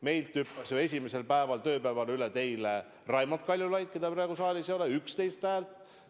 Meilt hüppas ju esimesel tööpäeval üle teile Raimond Kaljulaid, keda praegu saalis ei ole – 11 häält.